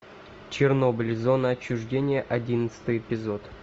чернобыль зона отчуждения одиннадцатый эпизод